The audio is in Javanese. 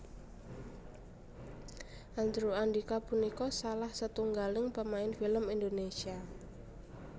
Andrew Andika punika salah setunggaling pemain film Indonésia